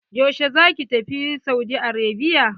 Yaushe za ki tafi Saudi Arabia?